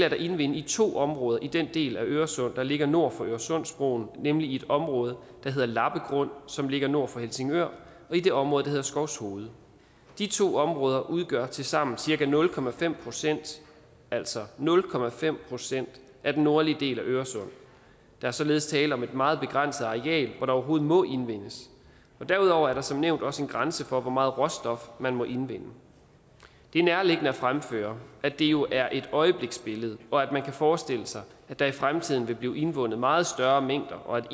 at indvinde i to områder i den del af øresund der ligger nord for øresundsbroen nemlig i et område der hedder lappegrund som ligger nord for helsingør og i det område der hedder skovshoved de to områder udgør tilsammen cirka nul procent altså nul procent af den nordlige del af øresund der er således tale om et meget begrænset areal hvor der overhovedet må indvindes og derudover er der som nævnt også en grænse for hvor meget råstof man må indvinde det er nærliggende at fremføre at det jo er et øjebliksbillede og at man kan forestille sig at der i fremtiden vil blive indvundet meget større mængder og at